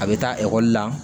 A bɛ taa ekɔli la